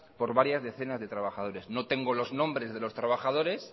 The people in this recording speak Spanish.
por varias decenas de trabajadores no tengo los nombres de los trabajadores